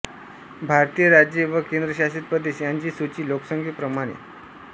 भारतीय राज्ये व केंद्रशासित प्रदेश यांची सूची लोकसंख्ये प्रमाणे